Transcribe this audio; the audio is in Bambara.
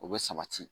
O bɛ sabati